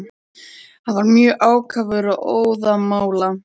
Hann var mjög ákafur og óðamála.